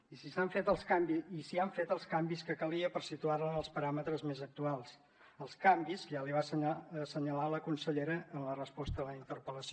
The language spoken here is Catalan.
i s’hi han fet els canvis que calia per situarla en els paràmetres més actuals els canvis que ja li va assenyalar la consellera en la resposta a la interpel·lació